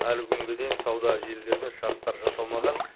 әлі күнге дейін сауда желілерімен шарттар жасалмаған